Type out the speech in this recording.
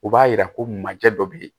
U b'a yira ko manjɛ dɔ bɛ yen